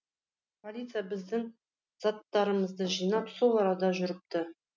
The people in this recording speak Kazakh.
полиция біздің заттарымызды жинап сол арада жүріпті